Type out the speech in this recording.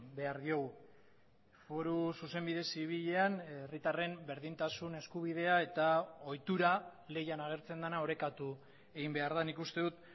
behar diogu foru zuzenbide zibilean herritarren berdintasun eskubidea eta ohitura leian agertzen dena orekatu egin behar da nik uste dut